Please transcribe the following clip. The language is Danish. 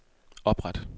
opret